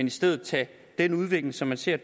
i stedet tage den udvikling som vi ser